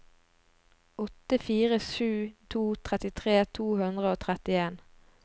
åtte fire sju to trettitre to hundre og trettien